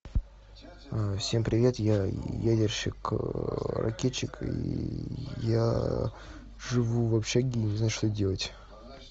всем привет я ядерщик ракетчик и я живу в общаге и не знаю что делать